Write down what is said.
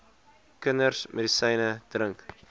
kinders medisyne drink